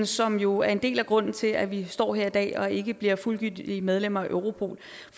som jo er en del af grunden til at vi står her i dag og ikke bliver fuldgyldige medlemmer af europol